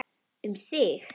Um þig.